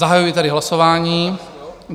Zahajuji tedy hlasování.